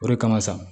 O de kama sa